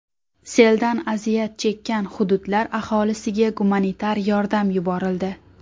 Seldan aziyat chekkan hududlar aholisiga gumanitar yordam yuborildi.